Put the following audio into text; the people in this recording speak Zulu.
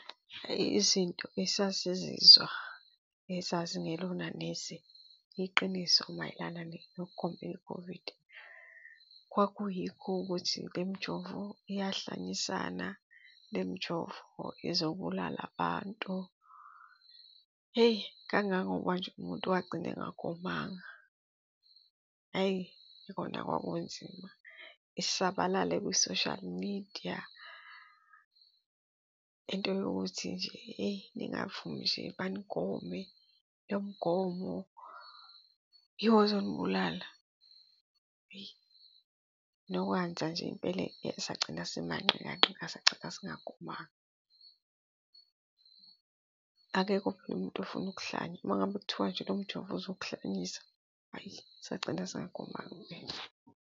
Eyi, izinto esasizizwa ezazingelona neze iqiniso, mayelana nokugomela i-COVID. Kwakuyikho ukuthi le mijovo iyahlanyisana, le mijovo izobulala abantu, hheyi kangangokuba nje umuntu wagcina engagomanga. Ayi, kona kwakunzima isabalale kwi-social media into yokuthi nje eyi, ningavumi nje banigome, lo mgomo yiwo ozonibulala. Eyi, nokwenza nje impela sagcina simanqikanqika, sagcina singagomanga. Akekho phela umuntu ofuna ukuhlanya. Uma ngabe kuthiwa nje lomjovo uzokuhlanyisa, hhayi sagcina singagomanga impela.